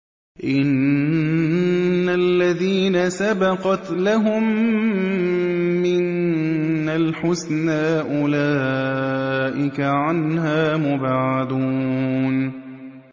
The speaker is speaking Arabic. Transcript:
إِنَّ الَّذِينَ سَبَقَتْ لَهُم مِّنَّا الْحُسْنَىٰ أُولَٰئِكَ عَنْهَا مُبْعَدُونَ